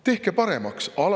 Tehke paremaks!